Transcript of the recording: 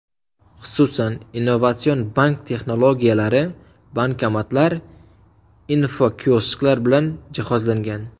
Xususan, innovatsion bank texnologiyalari, bankomatlar, infokiosklar bilan jihozlangan.